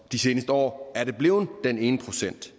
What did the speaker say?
de seneste år blevet den ene procent